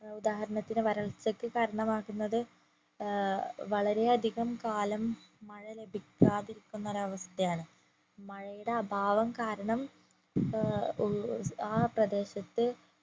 ഉദാഹരണത്തിന് വരൾച്ചയ്ക്ക് കാരണമാകുന്നത് ഏർ വളരെ അധികം കാലം മഴ ലഭിക്കാതിരിക്കുന്ന ഒരവസ്ഥയാണ് മഴയുടെ അഭാവം കാരണ ഏർ ഉ ആ പ്രദേശത്തു